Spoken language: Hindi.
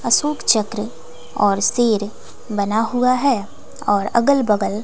अशोक चक्र और शेर बना हुआ है और अगल बगल--